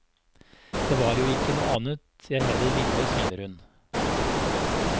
Det var jo ikke noe annet jeg heller ville, smiler hun.